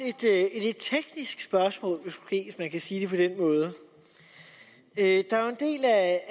et teknisk spørgsmål hvis man kan sige det på den måde der er jo en del af